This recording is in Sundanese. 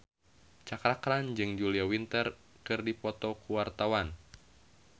Cakra Khan jeung Julia Winter keur dipoto ku wartawan